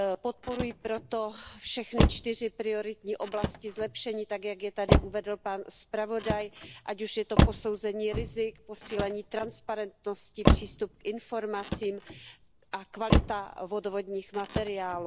Podporuji proto všechny čtyři prioritní oblasti zlepšení, tak jak je tady uvedl pan zpravodaj, ať už je to posouzení rizik, posílení transparentnosti, přístup k informacím a kvalita vodovodních materiálů.